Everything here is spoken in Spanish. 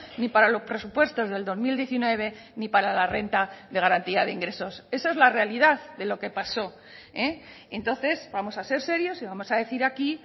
ni para los presupuestos del dos mil diecinueve ni para la renta de garantía de ingresos esa es la realidad de lo que pasó entonces vamos a ser serios y vamos a decir aquí